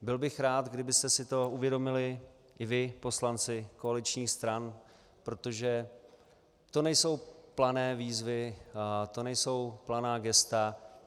Byl bych rád, kdybyste si to uvědomili i vy, poslanci koaličních stran, protože to nejsou plané výzvy, to nejsou planá gesta.